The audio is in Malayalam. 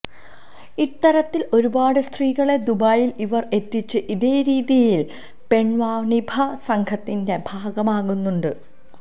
ഇത്തരത്തില് ഒരുപാട് സ്ത്രീകളെ ദുബായില് ഇവര് എത്തിച്ച് ഇതേ രീതിയില് പെണ്വാണിഭ സംഘത്തിന്റെ ഭാഗമാക്കുന്നുണ്ട്